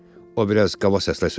O biraz qaba səslə söylədi.